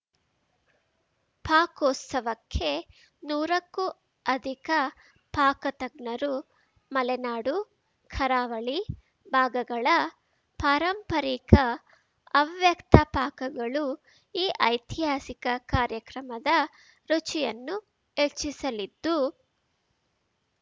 ಪಾಕೋತ್ಸವಕ್ಕೆ ನೂರಕ್ಕೂ ಅಧಿಕ ಪಾಕತಜ್ಞರು ಮಲೆನಾಡು ಕರಾವಳಿ ಭಾಗಗಳ ಪಾರಂಪರಿಕ ಹವ್ಯಕ್ತ ಪಾಕಗಳು ಈ ಐತಿಹಾಸಿಕ ಕಾರ್ಯಕ್ರಮದ ರುಚಿಯನ್ನು ಹೆಚ್ಚಿಸಲಿದ್ದು